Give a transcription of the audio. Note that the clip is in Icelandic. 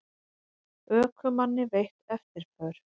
Ökumanni veitt eftirför